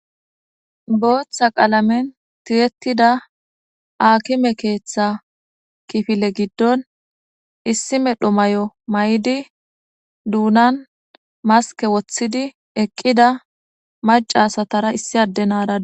booththa qaalamen tiyettida aakime keeththa kifile giddon issi medho may7o may7di duunan maske woththidi eqqida macasatara issi addenaara dossona